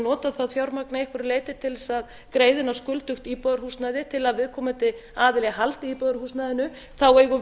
notað þá fjármagnið að einhverju leyti til þess að greiða inn á skuldugt íbúðarhúsnæði til að viðkomandi aðili haldi íbúðarhúsnæðinu eigum